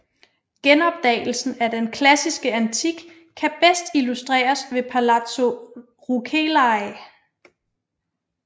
Genopdagelsen af den klassiske antik kan bedst illustreres ved Palazzo Rucellai